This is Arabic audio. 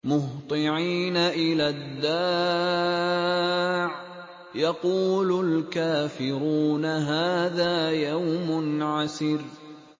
مُّهْطِعِينَ إِلَى الدَّاعِ ۖ يَقُولُ الْكَافِرُونَ هَٰذَا يَوْمٌ عَسِرٌ